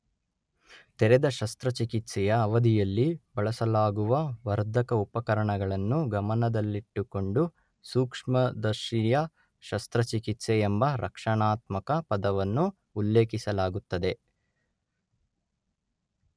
ತೆರೆದ ಶಸ್ತ್ರಚಿಕಿತ್ಸೆಯ ಅವಧಿಯಲ್ಲಿ ಬಳಸಲಾಗುವ ವರ್ಧಕ ಉಪಕರಣಗಳನ್ನು ಗಮನದಲ್ಲಿಟ್ಟುಕೊಂಡು ಸೂಕ್ಷ್ಮದರ್ಶೀಯ ಶಸ್ತ್ರಚಿಕಿತ್ಸೆ ಎಂಬ ರಕ್ಷಣಾತ್ಮಕ ಪದವನ್ನು ಉಲ್ಲೇಖಿಸಲಾಗುತ್ತದೆ.